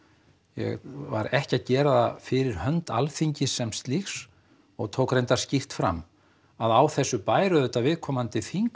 ég var ekki að gera það fyrir hönd Alþingis sem slíks og tók skýrt fram að á þessu bæru auðvitað viðkomandi þingmenn